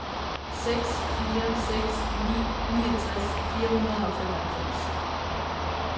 seks fire seks ni niogtres fire hundrede og femoghalvfems